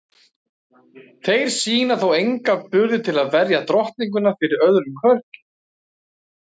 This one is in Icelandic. Þeir sýna þó enga burði til að verja drottninguna fyrir öðrum körlum.